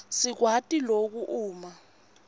sikwati loku uma